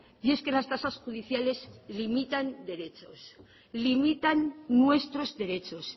y es que las tasas judiciales limitan derechos limitan nuestros derechos